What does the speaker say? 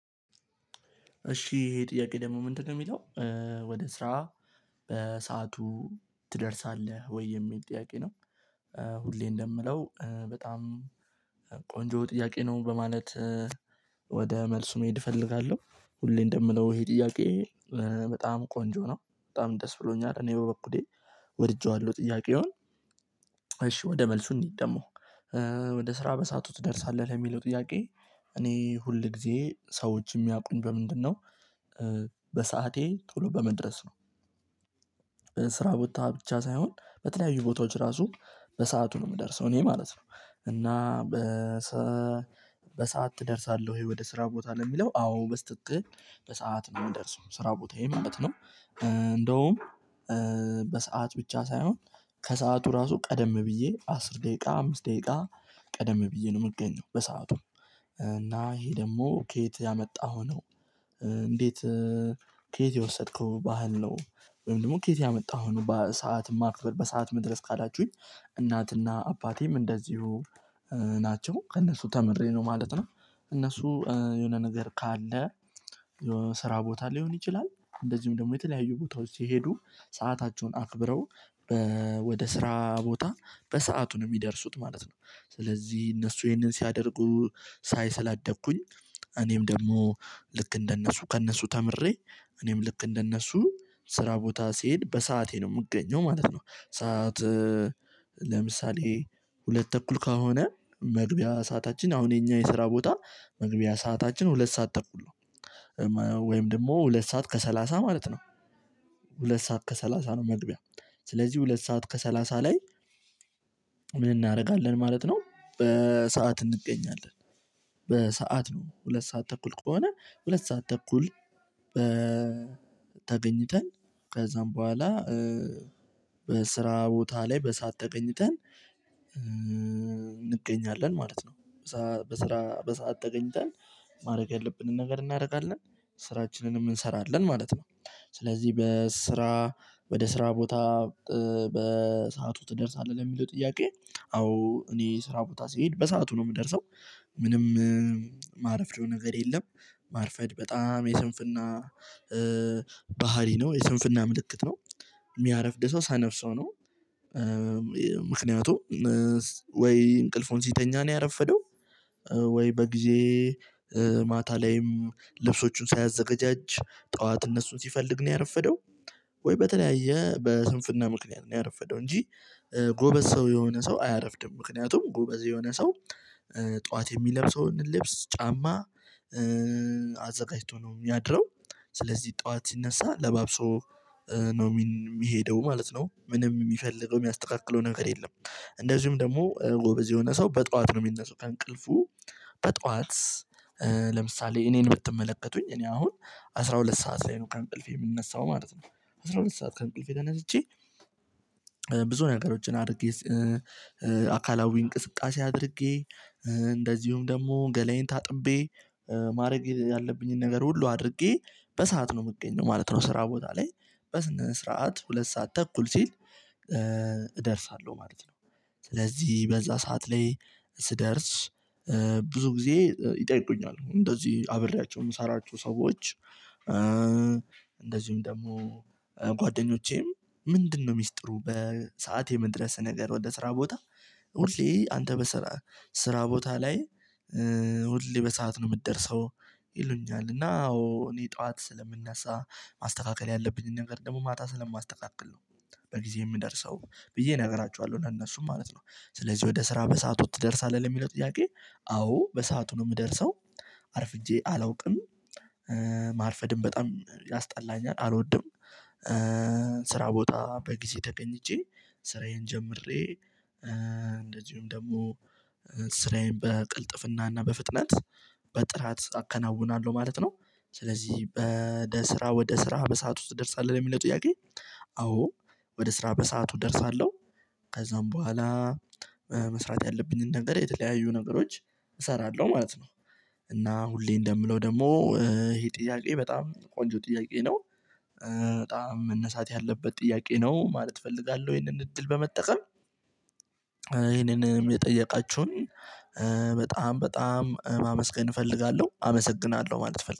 እሺ ይሄ ጥያቄ ደግሞ ምንድነው የሚለው? ወደ ስራ በሰአቱ ትደርሳለህ ወይ የሚል ጥያቄ ነው። ሁሌ እንደምለው በጣም ቆንጆ ጥያቄ ነው በማለት። ወደ መልሱ መሄድ እፈልጋለሁ። ሁሌ እንደምለው ይሄ ጥያቄ በጣም ቆንጆ ነው በጣም ደስ ብሎኛል እኔ በበኩሌ ወድጄዋለሁ ጥያቄውን። እሺ ወደ መልሱ እንሂድ። ደግሞ ወደ ስራ በሳቱ ትደርሳለህ ለሚለው ጥያቄ? እኔ ሁል ጊዜ ሰዎች የሚያውቁኝ በምንድነው? በሰአቴ ተሎ በመድረስ ነው። ስራ ቦታ ብቻ ሳይሆን በተለያዩ ቦታዎች ራሱ በሰአቱ ነው የምደርሰው እኔ ማለት ነው። እና። በሰአት ትደርሳለሁ ወይ ወደ ስራ ቦታ ለሚለው አዎ በስትክል በሰአት ነው የምደርሰው ስራ ቦታየ ማለት ነው። እንደውም በሰአት ብቻ ሳይሆን ከሰአቱ ራሱ ቀደም ብዬ አስር ደቂቃ አምስት ደቂቃ ቀደም ብዬ ነው የምገኘው በሰአቱም እና ይሄ ደግሞ ከየት ያመጣሀው ነው? እንዴት? ከየት የወሰድከው ባህል ነው። ወይም ደግሞ ከየት ያመጣሀው በሰአት ማክበር በሰአት መድረስ ካላችሁኝ። እናትና አባቴም እንደዚሁ ናቸው ከእነሱ ተምሬ ነው ማለት ነው። እነሱ የሆነ ነገር ካለ የሆነ ስራ ቦታ ሊሆን ይችላል። እንደዚሁም ደግሞ የተለያዩ ቦታዎች ሲሄዱ ሰአታቸውን አክብረው ወደ ስራ ቦታ በሰአቱ ነው የሚደርሱት ማለት ነው። ስለዚህ እነሱ ይሄንን ሲያደርጉ ሳይ ስላደግኩኝ እኔም ደግሞ ልክ እንደነሱ ከእነሱ ተምሬ እኔም ልክ እንደነሱ ስራ ቦታ ሲሄድ በሰአቴ ነው የምገኘው ማለት ነው። ሰዓት ለምሳሌ ሁለት ተኩል ካልሆነ መግቢያ ሰዓታችን አሁን የኛ የስራ ቦታ መግቢያ ሰዓታችን ሁለት ሰዓት ተኩል ነው። ወይም ደግሞ ሁለት ሰዓት ከሰላሳ ማለት ነው። ሁለት ሰዓት ከሰላሳ ነው መግቢያ። ስለዚህ ሁለት ሰዓት ከሰላሳ ላይ ምን እናደርጋለን ማለት ነው በሰአት እንገኛለን። በሰአት ነው ሁለት ሰዓት ተኩል ከሆነ ሁለት ሰዓት ተኩል። ተገኝተን ከዛም በኋላ። በስራ ቦታ ላይ በሰአት ተገኝተን እንገኛለን ማለት ነው። በስራ በሰአት ተገኝተን ማድረግ ያለብንን ነገር እናደርጋለን ስራችንንም እንሰራለን ማለት ነው። ስለዚህ በስራ ወደ ስራ ቦታ በሰአቱ ትደርሳለህ ለሚለው ጥያቄ። አዎ እኔ ስራ ቦታ ስሄድ በሰአቱ ነው የምደርሰው። ምንም ማረፍደው ነገር የለም። ማርፈድ በጣም የስንፍና ባህሪ ነው የስንፍና ምልክት ነው። የሚያረፍድ ሰው ሰነፍ ሰው ነው። ምክንያቱም ወይ እንቅልፉን ሲተኛ ነው ያረፈደው። ወይ በጊዜ ማታ ላይም ልብሶቹን ሳያዘጋጃጅ ጠዋት እነሱን ሲፈልግ ነው ያረፈደው። ወይ በተለያየ በስንፍና ምክንያት ነው ያረፈደው እንጂ። ጎበዝ ሰው የሆነ ሰው አያረፍድም ምክንያቱም ጎበዝ የሆነ ሰው ጠዋት የሚለብሰውን ልብስ ጫማ አዘጋጅቶ ነው የሚያድረው። ስለዚህ ጠዋት ሲነሳ ለባብሶ ነው የሚሄደው ማለት ነው። ምንም የሚፈልገው የሚያስተካክለው ነገር የለም። እንደዚሁም ደግሞ ጎበዝ የሆነ ሰው በጧት ነው የሚነሳው። ከእንቅልፉ በጠዋት ለምሳሌ እኔን ብትመለከቱኝ እኔ አሁን አስራ ሁለት ሰዓት ላይ ነው ከእንቅልፌ የምነሳው ማለት ነው። አስራ ሁለት ሰዓት ከእንቅልፌ ተነስቼ ብዙ ነገሮችን አድርጌ አካላዊ እንቅስቃሴ አድርጌ እንደዚሁም ደግሞ ገላዬን ታጥቤ ማድረግ ያለብኝን ነገር ሁሉ አድርጌ በሰአት ነው የምገኘው ማለት ነው። ስራ ቦታ ላይ በስነ ስርዓት ሁለት ሰዓት ተኩል ሲል እደርሳ ማለት ነው። ስለዚህ በዛ ሰዓት ላይ ስደርስ ብዙ ጊዜ ይጠይቁኛል እንደዚህ አብሬያቸው የምሰራቸው ሰዎች። እንደዚሁም ደግሞ ጓደኞቼም ምንድነው? ሚስጥሩ በሰአት የመድረስ ነገር ወደ ስራ ቦታ ሁሌ አንተ በስራ ስራ ቦታ ላይ። ሁሌ በሰአት ነው የምትደርሰው። ይሉኛል እና አዎ እኔ ጠዋት ስለምነሳ ማስተካከል ያለብኝን ነገር ደግሞ ማታ ስለማስተካክል ነው። በጊዜ የምደርሰው ብዬ እነግራችኋለሁ ለእነሱም ማለት ነው። ስለዚህ ወደ ስራ በሰአቱ ትደርሳለህ ለሚለው ጥያቄ። አዎ በሰአቱ ነው የምደርሰው። አርፍጄ አላውቅም። ማርፈድም በጣም ያስጠላኛል አልወድም። ቦታ በጊዜ ተገኝቼ ስራዬን ጀምሬ እንደዚሁም ደግሞ ስራዬን በቅልጥፍና እና በፍጥነት በጥራት አከናውናለሁ ማለት ነው። ስለዚህ በስራ ወደ ስራ በሰአቱ ትደርሳለህ የሚለው ጥያቄ። አዎ ወደ ስራ በሰአቱ እደርሳለሁ። ከዛም በኋላ መስራት ያለብኝን ነገር የተለያዩ ነገሮች እሰራለሁ ማለት ነው። እና ሁሌ እንደምለው ደግሞ ይሄ ጥያቄ በጣም ቆንጆ ጥያቄ ነው። በጣም መነሳት ያለበት ጥያቄ ነው ማለት እፈልጋለሁ። ይሄንን እድል በመጠቀም ይሄንንም የጠየቃችሁኝ በጣም በጣም ማመስገን እፈልጋለሁ አመሰግናለሁ ማለት እፈልጋ